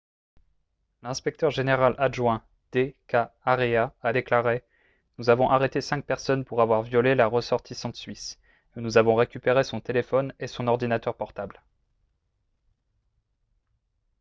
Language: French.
l'inspecteur général adjoint d.k. arya a déclaré :« nous avons arrêté cinq personnes pour avoir violé la ressortissante suisse et nous avons récupéré son téléphone et son ordinateur portables. »